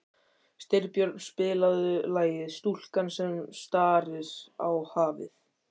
Styrbjörn, spilaðu lagið „Stúlkan sem starir á hafið“.